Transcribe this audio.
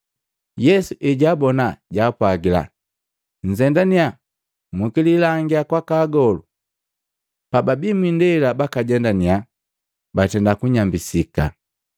Yesu ejaabona jaapwagila, “Nzendannya mukililangia kwaka agolu.” Pababi mwiindela bakajendaninya batenda kunyambisika.